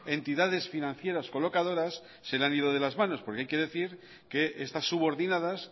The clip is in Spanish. entidades financieras colocadoras se le han ido de las manos porque hay que decir que estas subordinadas